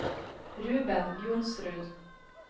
Ruben Johnsrud